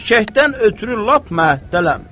Eşşəkdən ötrü lap məhətdəyəm.